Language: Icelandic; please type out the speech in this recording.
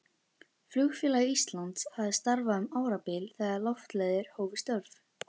Flugfélag Íslands hafði starfað um árabil þegar Loftleiðir hófu störf.